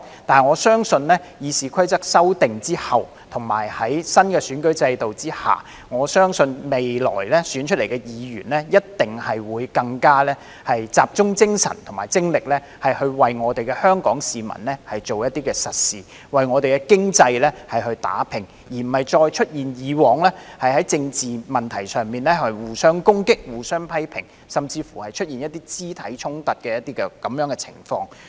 不過，我相信在修訂《議事規則》後，以及在新選舉制度下，未來選出的議員一定會更集中精神和精力為香港市民做一些實事、為香港的經濟打拚，而不會再出現以往在政治問題上互相攻擊、互相批評，甚至是一些肢體衝突的情況。